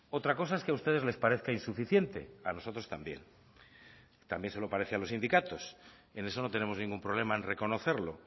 otra cosa es que a ustedes les parezca insuficiente a nosotros también también se lo parece a los sindicatos en eso no tenemos ningún problema en reconocerlo